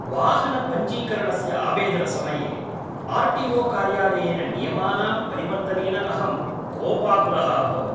वाहनपञ्जीकरणस्य आवेदनसमये R T O कार्यालयेन नियमानां परिवर्तनेन अहं कोपाकुलः अभवम्।